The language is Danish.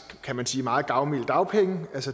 kan man sige meget gavmilde dagpenge